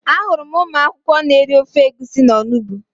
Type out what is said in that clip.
Ahụrụ m ụmụ akwụkwọ n'eri ofe egusi na onugbu